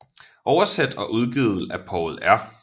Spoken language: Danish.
Oversat og udgivet af Poul R